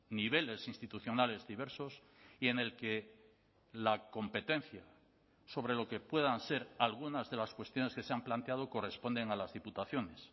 niveles institucionales diversos y en el que la competencia sobre lo que puedan ser algunas de las cuestiones que se han planteado corresponden a las diputaciones